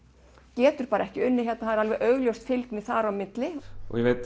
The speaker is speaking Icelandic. getur bara ekki unnið hérna augljós fylgni þar á milli ég veit